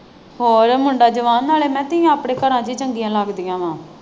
ਆਹੋ ਮੁੰਡਾ ਜਵਾਨ ਨਾਲੇ ਮਾਸੀ ਆਪਣੇ ਘਰਾਂ ਚ ਹੀ ਚੰਗੀਆਂ ਲੱਗਦੀਆਂ ਹੈਂ।